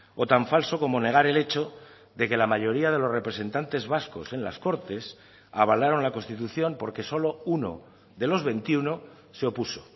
o tan falso como negar el hecho de que la mayoría de los representantes vascos en las cortes avalaron la constitución porque solo uno de los veintiuno se opuso